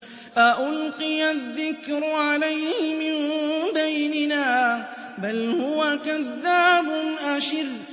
أَأُلْقِيَ الذِّكْرُ عَلَيْهِ مِن بَيْنِنَا بَلْ هُوَ كَذَّابٌ أَشِرٌ